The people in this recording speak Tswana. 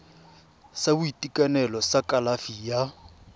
sa boitekanelo sa kalafi ya